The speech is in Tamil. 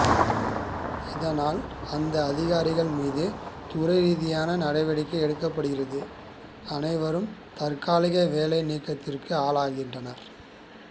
இதனால் அந்த அதிகாரிகள் மீது துறைரீதியான நடவடிக்கை எடுக்கப்படுகிறது அனைவரும் தற்காலிக வேலை நீக்கத்துக்கு ஆளாகிறார்கள்